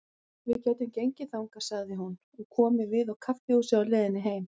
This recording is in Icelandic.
Við gætum gengið þangað, sagði hún, og komið við á kaffihúsi á leiðinni heim.